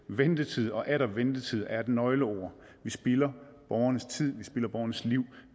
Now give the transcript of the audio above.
ventetid og atter ventetid er et nøgleord vi spilder borgernes tid vi spilder borgernes liv